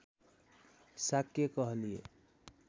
शाक्य कहलिए